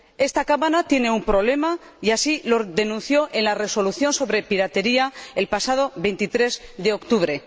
Esta Cámara tiene un problema, y así lo denunció en la Resolución sobre piratería el pasado 23 de octubre.